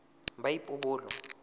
boipobolo